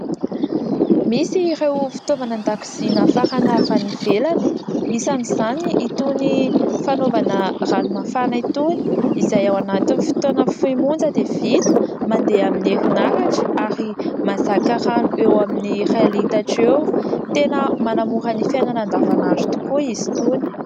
Misy ireo fitaovana andakozia nafarana avy any ivelany, isan'izany itony fanaovana ranomafana itony, izay ao anatin'ny fotoana fohy monja dia vita, mandeha amin'ny herinaratra ary mahazaka rano eo amin'ny ray litatra eo, tena manamora ny fiainana andavanandro tokoa izy itony.